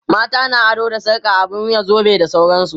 mata na ado da sarka, abun wuya, zobe da sauransu